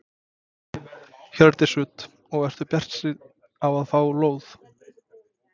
Hjördís Rut: Og ertu bjartsýn á að fá lóð?